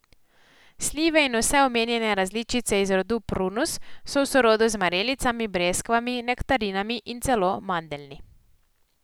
Slive in vse omenjene različice iz rodu prunus so v sorodu z marelicami, breskvami, nektarinami in celo mandeljni.